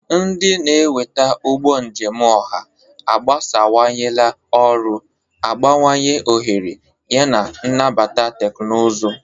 Ndị na-eweta ụgbọ njem ọha agbasawanyela ọrụ, abawanye ohere, yana nabata teknụzụ.